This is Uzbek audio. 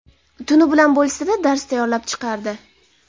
Tuni bilan bo‘lsa-da, dars tayyorlab chiqardi.